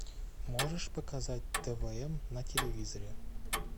можешь показать твн на телевизоре